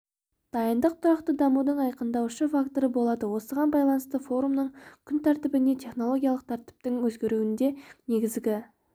дайындық тұрақты дамудың айқындаушы факторы болады осыған байланысты форумның күн тәртібіне технологиялық тәртіптің өзгеруінде негізгі